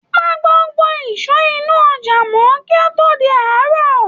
Pa gbogbo ìsọ inú ojà mọ kí ó tó di àárò.